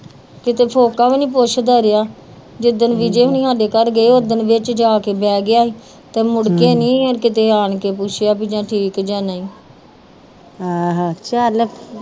ਕਿਤੇ ਵੀ ਨੀ ਪੁੱਛਦਾ ਰੇਹਾ ਜਿਦਣ ਵਿਜੈ ਹੁਨੀ ਸਾਡੇ ਘਰ ਗਏ ਓਦਣ ਵਿੱਚ ਜਾ ਕੇ ਬੇਹ ਗਿਆ ਹੀ ਤੇ ਮੁੜ ਕੇ ਨੀ ਕੀਤੇ ਆਣ ਕੇ ਪੁੱਛਿਆ ਜਾ ਠੀਕ ਜਾ ਨਹੀਂ